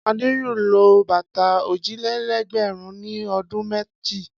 Adé yóò lo bàtà òjìlélẹ́ẹ̀dẹ́gbẹ̀rún ní ọdún méjì.